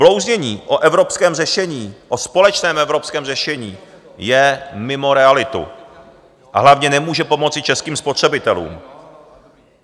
Blouznění o evropském řešení, o společném evropském řešení je mimo realitu, a hlavně nemůže pomoci českým spotřebitelům.